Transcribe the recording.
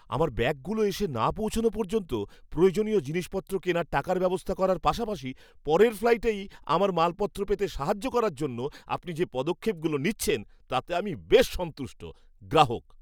আমার ব্যাগগুলো এসে না পৌঁছনো পর্যন্ত প্রয়োজনীয় জিনিসপত্র কেনার টাকার ব্যবস্থা করার পাশাপাশি পরের ফ্লাইটেই আমার মালপত্র পেতে সাহায্য করার জন্য আপনি যে পদক্ষেপগুলো নিচ্ছেন তাতে আমি বেশ সন্তুষ্ট। গ্রাহক